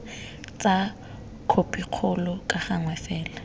tsa khopikgolo ka gangwe fela